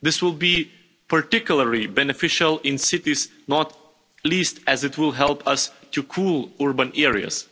This will be particularly beneficial in cities, not least as it will help us to cool urban areas.